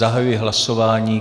Zahajuji hlasování.